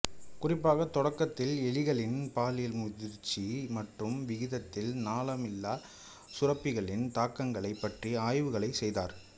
குறிப்பாக தொடக்கத்தில் எலிகளின் பாலியல் முதிர்ச்சி மற்றும் விகிதத்தில் நாளமில்லா சுரப்பிகளின் தாக்கங்களைப் பற்றிய ஆய்வுகளைச் செய்தார்